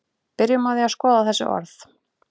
byrjum á því að skoða þessi orð